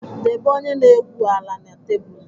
Debe onye na-egwu ala na tebụl!